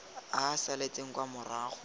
a a saletseng kwa morago